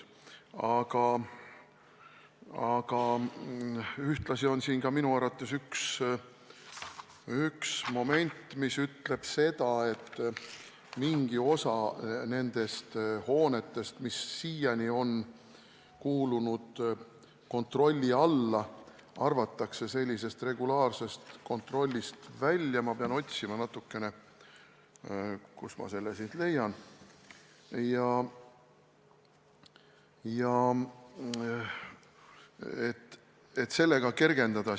Ja minu arvates üks punkt ütleb seda, et mingi osa nendest hoonetest, mis siiani on kuulunud kontrolli alla, arvatakse regulaarsest kontrollist välja – ma pean natukene otsima, kust ma selle siit leian –, et sellega olukorda kergendada.